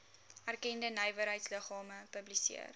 erkende nywerheidsliggame publiseer